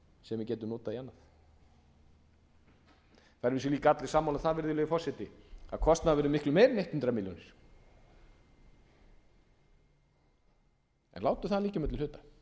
sem við gætum notað í annað það eru að vísu líka allir sammála um það virðulegi forseti að kostnaðurinn verður miklu meiri en hundrað milljónir en látum það liggja á milli hluta